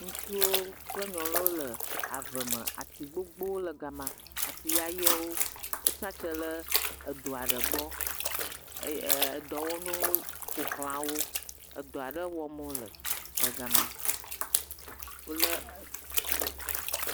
Ŋutsuwo kple nyɔnuwo le ave me ati gbogbowo le gama, ati yayewo wotsi atsitre le edo aɖe gbɔ, ee..edɔwɔnuwo ƒoxlawo, edɔ ale wɔm wole le gama, wolé..eee..sss. eeee.ŋu.